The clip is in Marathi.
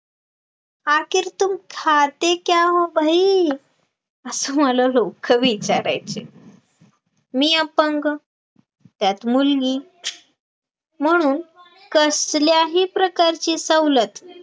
आखीर तुम खाते क्या हो भाई असं मला लोक विचारायचे मी अपंग त्यात मुलगी म्हणून कसल्याही प्रकारची सवलत